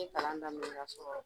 I bɛ kalan daminɛ ka sɔrɔ